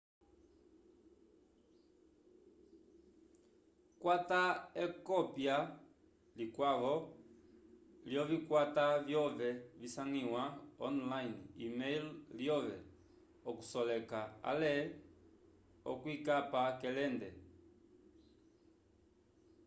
kwata ekopya likwavo lyovikwata vyove visangiwa online e-mail lyove okuseleka ale okuyikapa k’elende